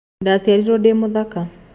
Ndaciarirwo ndĩ mũthaka.